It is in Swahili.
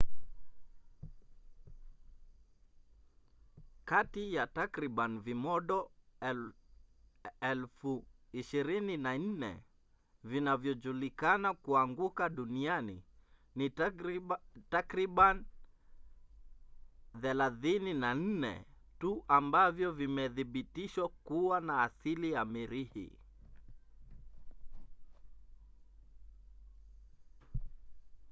kati ya takriban vimondo 24,000 vinavyojulikana kuanguka duniani ni takribani 34 tu ambavyo vimethibitishwa kuwa na asili ya mirihi